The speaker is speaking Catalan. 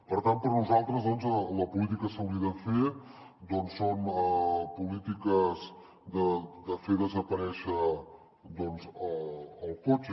per tant per nosaltres la política que s’hauria de fer són polítiques de fer desaparèixer el cotxe